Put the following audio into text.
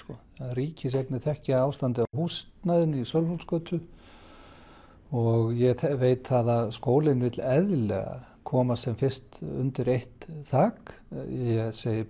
ríkiseiginir þekkja ástandið á húsnæðinu í Sölvholtsgötu og ég veit það að skólinn vill eðlilega komast sem fyrst undir eitt þak ég segi